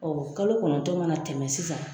kalo kɔnɔntɔ mana tɛmɛ sisan.